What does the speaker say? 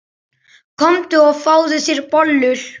Komdu og fáðu þér bollur.